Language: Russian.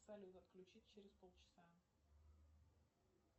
салют отключись через пол часа